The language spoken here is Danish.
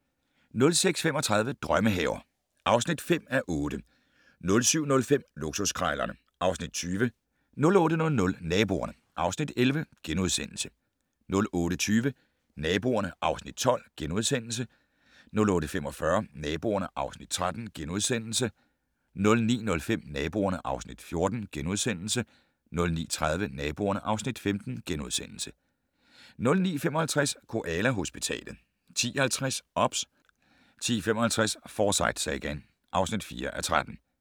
06:35: Drømmehaver (5:8) 07:05: Luksuskrejlerne (Afs. 20) 08:00: Naboerne (Afs. 11)* 08:20: Naboerne (Afs. 12)* 08:45: Naboerne (Afs. 13)* 09:05: Naboerne (Afs. 14)* 09:30: Naboerne (Afs. 15)* 09:55: Koala-hospitalet 10:50: OBS 10:55: Forsyte-sagaen (4:13)